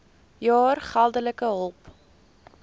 jaar geldelike hulp